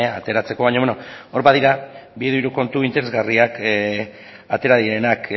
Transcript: ateratzeko baina hor badira bi hiru kontu interesgarriak atera direnak